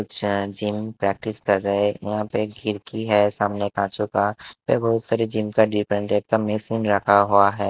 कुछ gym practice कर है। यहां पे एक खिड़की है सामने कंचों का। वहां बहुत सारे जिम का डिफरेंट टाइप का मशीन रखा हुआ हैं।